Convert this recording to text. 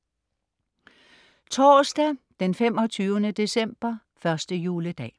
Torsdag 25. december, første juledag